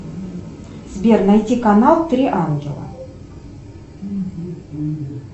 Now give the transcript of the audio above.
сбер найди канал три ангела